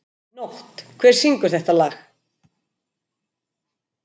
Nótt, hver syngur þetta lag?